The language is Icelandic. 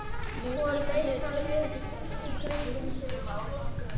Svo leit hann upp og í kringum sig og glotti.